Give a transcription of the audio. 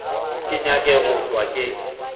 ke nyake go hlwa ke